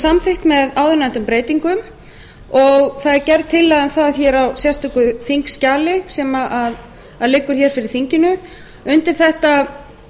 samþykkt með áðurnefndum breytingum og það er gerð tillaga um það á sérstöku þingskjali sem liggur fyrir þinginu undir þetta